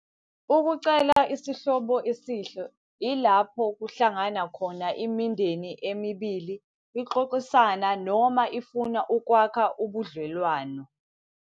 Ukucela isihlobo esihle ilapho kuhlangana khona imindeni emibili ixoxisana noma ifuna ukwakha ubudlelwano.